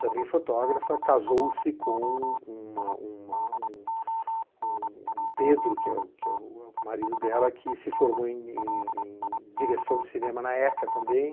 Também fotógrafa, casou-se com uma uma um m, o Pedro, que é o marido dela, que se formou em em direção de cinema na ECA também.